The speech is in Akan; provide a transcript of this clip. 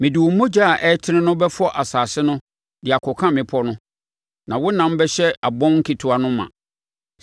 Mede wo mogya a ɛretene no bɛfɔ asase no de akɔka mmepɔ no na wonam bɛhyɛ abɔn nketewa no ma.